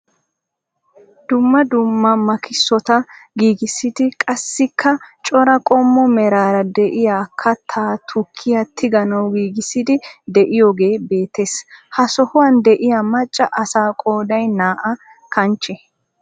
Dumma dumma makisota giigisidi qassika cora qommo meraara de'iyaa kattaa tukkiyaa tiganawu giigisiidi de'iyoogee beettees. ha sohuwaan de'iyaan macca asaa qooday naa"a kanchche.